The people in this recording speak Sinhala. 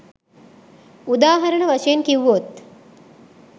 උදාහරණ වශයෙන් කිව්වොත්